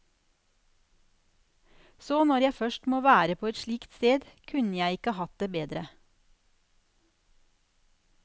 Så når jeg først må være på et slikt sted, kunne jeg ikke hatt det bedre.